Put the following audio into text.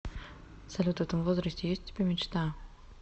салют в этом возрасте есть у тебя мечта